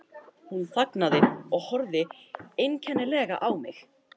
Hún þagnaði og horfði einkennilega á mig.